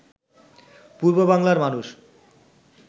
পূর্ব বাংলার মানুষ